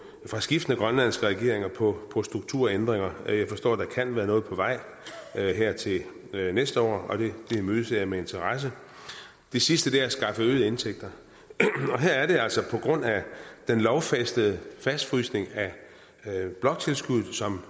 fra skiftende grønlandske regeringer på på strukturændringer jeg forstår at der kan være noget på vej her til næste år og det imødeser jeg med interesse det sidste er at skaffe øgede indtægter og her er det altså på grund af den lovfæstede fastfrysning af bloktilskuddet som